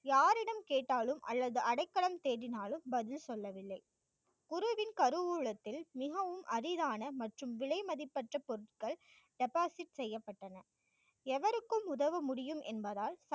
யாரிடம் கேட்டாலும், அல்லது அடைக்கலம் தேடினாலும், பதில் சொல்லவில்லை. குருவின் கருவூலத்தில், மிகவும் அரிதான, மற்றும் விலைமதிப்பற்ற பொருட்கள் deposit செய்யப்பட்டன எவருக்கும், உதவ முடியும் என்பதால்